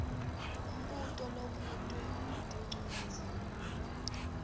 mbuto lobutwe ngetincwadzi